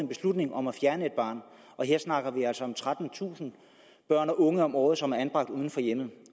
beslutning om at fjerne et barn her snakker vi altså om trettentusind børn og unge om året som er anbragt uden for hjemmet